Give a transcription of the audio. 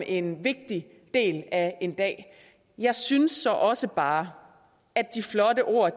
en vigtig del af en dag jeg synes så også bare at de flotte ord